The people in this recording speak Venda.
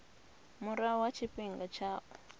murahu ha tshifhinga tsha u